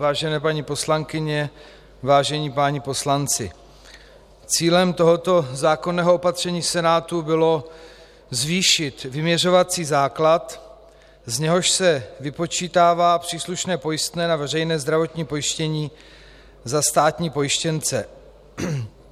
Vážené paní poslankyně, vážení páni poslanci, cílem tohoto zákonného opatření Senátu bylo zvýšit vyměřovací základ, z něhož se vypočítává příslušné pojistné a veřejné zdravotní pojištění za státní pojištěnce.